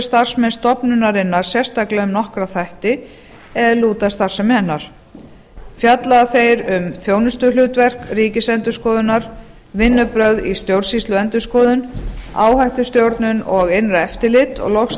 starfsmenn stofnunarinnar sérstaklega um nokkra þætti er lúta að starfsemi hennar fjalla þeir um þjónustuhlutverk ríkisendurskoðunar vinnubrögð í stjórnsýsluendurskoðun áhættustjórnun og innra eftirlit og loks